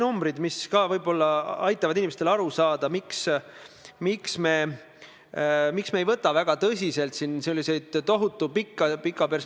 Ja teiseks, kindlasti vaatame ministeeriumis läbi ka selle, kuidas korraldada nii, et erinevate seaduste puhul jõuaks kooskõlastamine tõesti kõikide huvigruppideni.